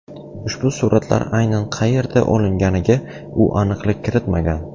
Ushbu suratlar aynan qayerda olinganiga u aniqlik kiritmagan.